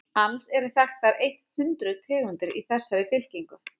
alls eru þekktar eitt hundruð tegundir í þessari fylkingu